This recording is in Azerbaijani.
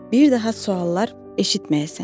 Bir daha suallar eşitməyəsən.